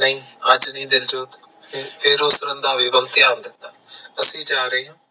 ਨਹੀਂ ਅੱਜ ਨੀ ਦਿਲਜੋ ਫਿਰ ਉਸ ਰੰਧਾਵੇ ਵੱਲ ਧਿਆਨ ਦਿੱਤਾ ਅਸੀਂ ਜਾ ਰਹੇ ਹਾਂ।